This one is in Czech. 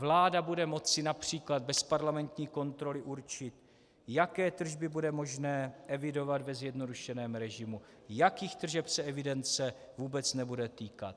Vláda bude moci například bez parlamentní kontroly určit, jaké tržby bude možné evidovat ve zjednodušeném režimu, jakých tržeb se evidence vůbec nebude týkat.